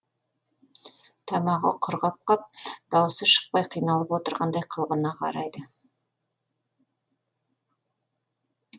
тамағы құрғап қап даусы шықпай қиналып отырғандай қылғына қарайды